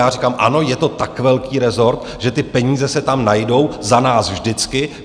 Já říkám ano, je to tak velký rezort, že ty peníze se tam najdou za nás vždycky.